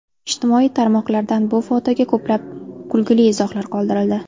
Ijtimoiy tarmoqlardan bu fotoga ko‘plab kulgili izohlar qoldirildi .